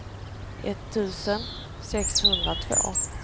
etttusen sexhundratvå